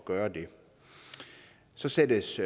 gøre det så sættes